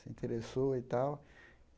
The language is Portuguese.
Se interessou e tal.